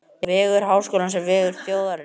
Vegur Háskólans er vegur þjóðarinnar.